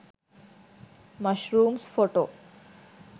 mushrooms photo